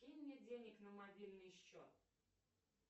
кинь мне денег на мобильный счет